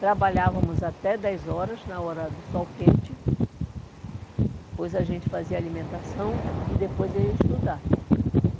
Trabalhávamos até dez horas na hora do sol quente, depois a gente fazia alimentação e depois ia estudar.